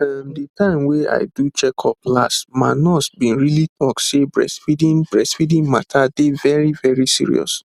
ehm the time wey i do checkup last ma nurse bin really talk say breastfeeding breastfeeding mata dey very very serious